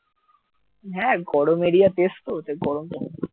হ্যাঁ গরম এরিয়ার দেশ তো গরম তো